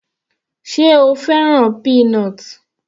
Sé o fẹ́ràn peanut l?